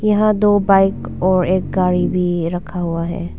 यहां दो बाइक और एक गाड़ी भी रखा हुआ है।